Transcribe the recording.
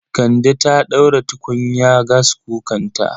Kande ta ɗaura tukunya gaskukanta